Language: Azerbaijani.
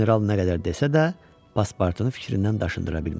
General nə qədər desə də, Paspartunu fikrindən daşındıra bilmədi.